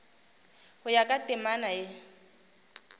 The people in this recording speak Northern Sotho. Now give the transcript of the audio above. go ya ka temana ye